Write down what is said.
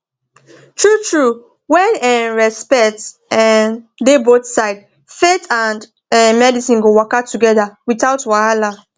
true true when um respect um dey both sides faith and um medicine go waka together without wahala